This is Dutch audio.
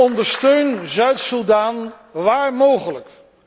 Ondersteun Zuid Soedan waar mogelijk.